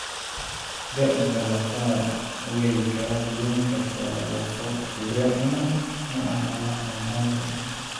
Da'da lafaha way kala duwanaan kartaa, lafo-jileecuna maaha wax aan caadi ahayn.